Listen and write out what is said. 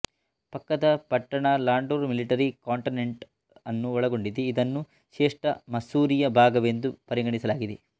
ಪಕ್ಕದ ಪಟ್ಟಣ Landour military cantonment ಅನ್ನು ಒಳಗೊಂಡಿದೆ ಇದನ್ನು ಶ್ರೇಷ್ಠ ಮಸ್ಸೂರಿಯ ಭಾಗವೆಂದು ಪರಿಗಣಿಸಲಾಗಿದೆ